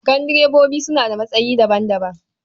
Gandirebobi suna da matsayi daban-daban.